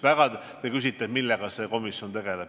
Te küsite, millega see komisjon tegeleb.